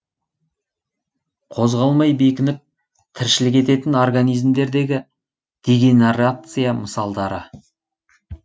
қозғалмай бекініп тіршілік ететін организмдердегі дегенарация мысалдары